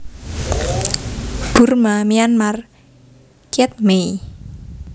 Burma Myanmar kyet mei